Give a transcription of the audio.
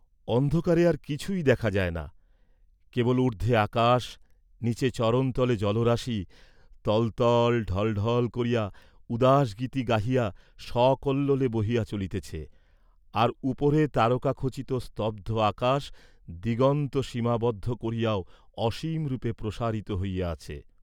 অন্ধকারে আর কিছুই দেখা যায় না, কেবল উর্দ্ধে আকাশ নীচে চরণতলে জলরাশি, তল তল, ঢল ঢল করিয়া উদাসগীতি গাহিয়া সকল্লোলে, বহিয়া চলিতেছে, আর উপরে তারকাখচিত স্তব্ধ আকাশ দিগন্ত সীমাবদ্ধ করিয়াও অসীমরূপে প্রসারিত হইয়া আছে।